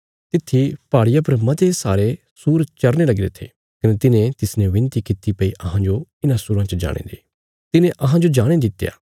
तित्थी पहाड़िया पर मते सारे सूर चरने लगीरे थे कने तिन्हें तिसने बिनती कित्ती भई अहांजो इन्हां सूराँ च जाणे दे तिने तिन्हाजो जाणे दित्या